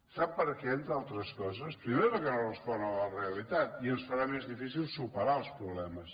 sap per què entre altres coses primer perquè no res·pon a la realitat i ens farà més difícil superar els pro·blemes